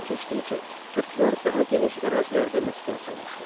Zaman keçdikcə türklər daha geniş ərazilərdə məskən salmışlar.